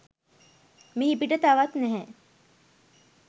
මිහිපිට තවත් නැහැ.